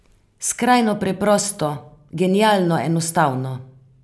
Skrajno preprosto, genialno enostavno.